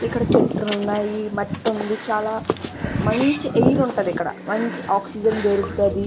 ఇక్కడ చెట్లు ఉన్నాయి. మట్టి ఉంది. చాలా మంచి ఎయిర్ ఉంటది. ఇక్కడ మంచి ఆక్సిజన్ దొరుకుతది.